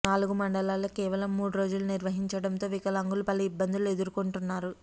నాలుగు మండలాలకు కేవలం మూడు రోజులు నిర్వహించడంతో వికలాంగులు పలు ఇబ్బందులు ఎదుర్కోంటున్నారు